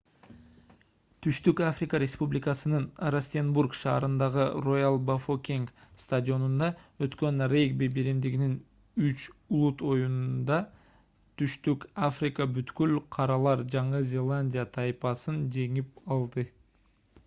түштүк африка республикасынын растенбург шаарындагы роял-бафокенг стадионунда өткөн регби биримдигинин үч улут оюнунда түштүк африка бүткүл каралар жаңы зеландия тайпасын жеңип алды